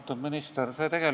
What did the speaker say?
Austatud minister!